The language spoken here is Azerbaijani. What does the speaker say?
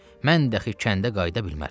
Mən dəxı kəndə qayıda bilmərəm.